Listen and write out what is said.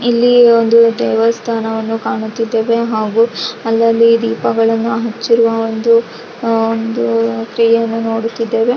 ಇಲ್ಲಿ ಒಂದು ದೇವಸ್ಥಾನವನ್ನು ಕಾಣುತ್ತಿದ್ದೇವೆ ಹಾಗು ಅಲ್ಲಲ್ಲಿ ದೀಪಗಳನ್ನು ಹಚ್ಚಿರುವ ಒಂದು ಅಹ್ ಒಂದು ಕ್ರಿಯೆಯನ್ನು ನೋಡುತ್ತಿದ್ದೇವೆ .